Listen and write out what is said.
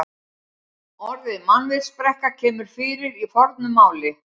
Orðið mannvitsbrekka kemur fyrir í fornu máli.